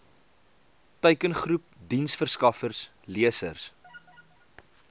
teikengroep diensverskaffers lesers